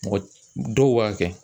Mɔgɔ dɔw b'a kɛ